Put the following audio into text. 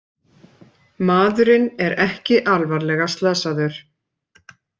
Maðurinn er ekki alvarlega slasaðir